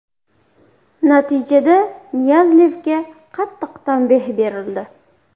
Natijada Niyazlevga qattiq tanbeh berildi.